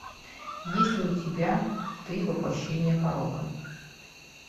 есть ли у тебя ты воплощение порока